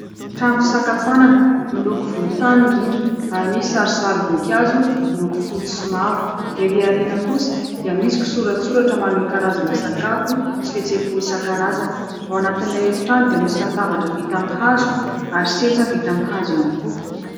Trano fisakafoanana : miloko volontany ny rindrina ary misy sarisarim-boninkazo miloko fotsy sy mavo. Erỳ aoriana kosa dia misy kisoratsoratra maneho karazana sakafo sy fihetseham-po isan-karazany. Ao anatin'ilay efitrano dia misy latabatra vita amin'ny hazo ary seza vita amin'ny hazo ihany koa.